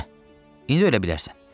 Hə, indi ölə bilərsən.